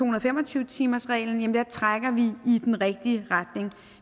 og fem og tyve timersreglen trækker i den rigtige retning